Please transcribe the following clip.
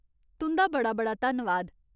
तुं'दा बड़ा बड़ा धन्नवाद !